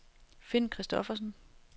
Finn Kristoffersen